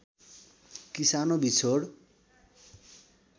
कि सानो बिछोड